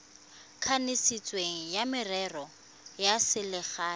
kanisitsweng wa merero ya selegae